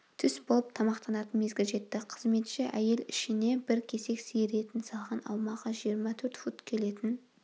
түс болып тамақтанатын мезгіл жетті қызметші әйел ішіне бір кесек сиыр етін салған аумағы жиырма төрт фут келетін